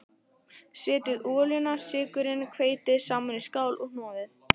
Setjið olíuna, sykurinn og hveitið saman í skál og hnoðið.